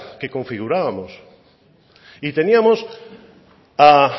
que configurábamos y teníamos a